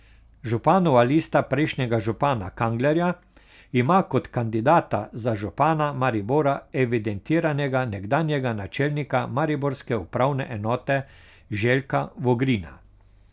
Županova lista prejšnjega župana Kanglerja ima kot kandidata za župana Maribora evidentiranega nekdanjega načelnika mariborske upravne enote Željka Vogrina.